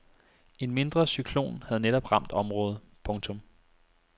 En mindre cyklon havde netop ramt området. punktum